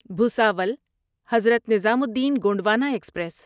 Bhusawal Hazrat Nizamuddin Gondwana express